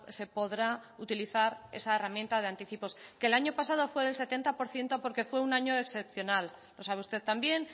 se podrá utilizar esa herramienta de anticipos que el año pasado fue del setenta por ciento porque fue un año excepcional lo sabe usted también